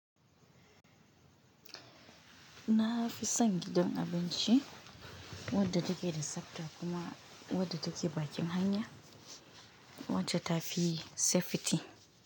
Na fi san gidan abinci wadda take da sapa kuma wadda take bakin hanya wacce ta fi safety.